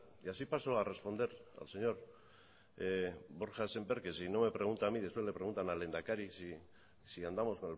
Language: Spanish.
así paso a responder al señor borja sémper que si no me pregunta a mí después le preguntan al lehendakari si andamos